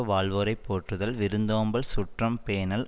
வாழ்வோரைப் போற்றுதல் விருந்தோம்பல் சுற்றம் பேணல்